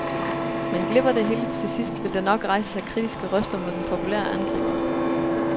Men glipper det hele til sidst, vil der nok rejse sig kritiske røster mod den populære angriber.